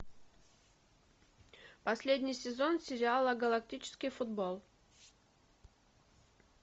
последний сезон сериала галактический футбол